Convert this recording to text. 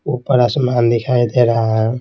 ऊपर आसमान दिखाई दे रहा है।